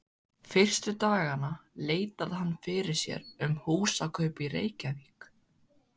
Fyrstu dagana leitaði hann fyrir sér um húsakaup í Reykjavík.